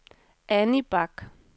Anny Bach